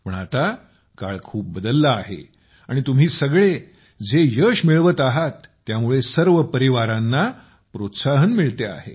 पण आता काळ खूप बदलला आहे आणि तुम्ही सगळे जे यश मिळवून आणत आहात त्यामुळे सर्व परिवारांना प्रोत्साहन मिळते आहे